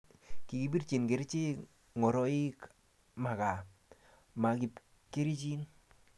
kikibitji kerchek ngoroik ma gaa, ma kapkerichen